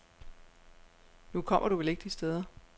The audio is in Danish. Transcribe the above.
Nu kommer du vel ikke de steder.